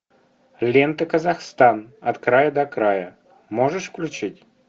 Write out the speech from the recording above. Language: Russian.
лента казахстан от края до края можешь включить